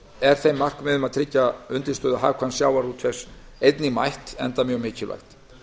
er þeim markmiðum að tryggja undirstöðu hagkvæms sjávarútvegs einnig mætt enda mjög mikilvægt